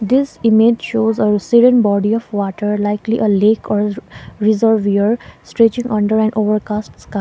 this image shows a serene body of water likely a lake or reservoir stretching under an overcast sky.